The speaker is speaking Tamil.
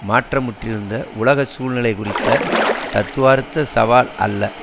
மாற்றமுற்றிருந்த உலக சூழ்நிலை குறித்த தத்துவார்த்த சவால் அல்ல